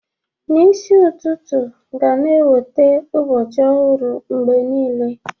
N'isi ụtụtụ ga-na ewete ụbọchị ọhụrụ mgbe niile.